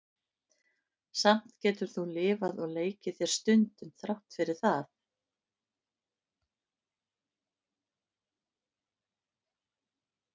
Samt getur þú lifað og leikið þér stundum, þrátt fyrir það.